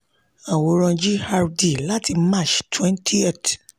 àwòrán gdr láti march 20th